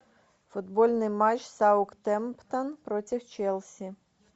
футбольный матч саутгемптон против челси